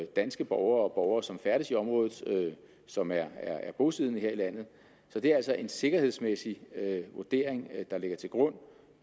danske borgere og borgere som færdes i området som er bosiddende her i landet så det er altså en sikkerhedsmæssig vurdering der ligger til grund